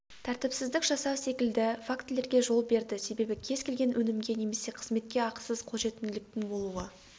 тәртіпсіздік жасау секілді фактілерге жол берді себебі кез келген өнімге немесе қызметке ақысыз қолжетімділіктің болуы